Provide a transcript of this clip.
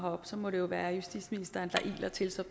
og så må det jo være justitsministeren der iler til som